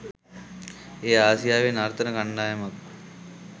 එය ආසියාවේ නර්තන කණ්ඩායමක්